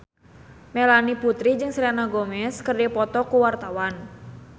Melanie Putri jeung Selena Gomez keur dipoto ku wartawan